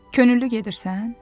Könüllü gedirsən?